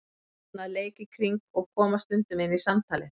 Börn að leik í kring og koma stundum inn í samtalið.